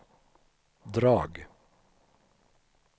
drag